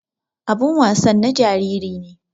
Abin wasan na jariri ne.